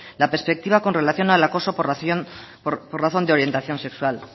la perspectiva con relación al acoso por razón de orientación sexual